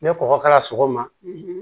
Ni kɔkɔ k'a la sɔgɔma